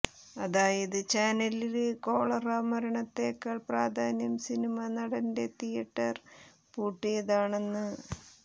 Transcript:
അതായത് ചാനലിന് കോളറാ മരണത്തെക്കാൾ പ്രാധാന്യം സിനിമാ നടന്റെ തിയേറ്റർ പൂട്ടിയതാണെന്ന്